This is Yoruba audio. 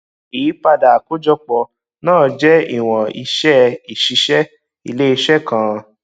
ìyípadà àkójọpọ náà jẹ ìwọn iṣẹ ìṣiṣẹ iléiṣẹ kan